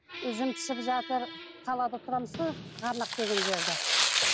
жүзім пісіп жатыр қалада тұрамыз ғой ғарнақ деген жерде